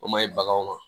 O ma ɲi baganw ma